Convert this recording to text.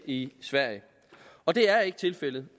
i sverige og det er ikke tilfældet